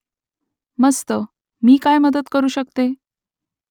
मस्त . मी काय मदत करू शकते ?